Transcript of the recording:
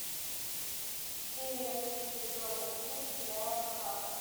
серия три сезона семь сериала схватка